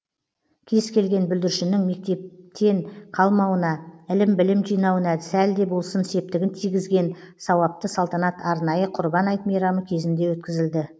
кез келген бүлдіршіннің мектептен қалмауына ілім білім жинауына сәл де болсын септігін тигізген сауапты салтанат арнайы құрбан айт мейрамы кезінде өткізілді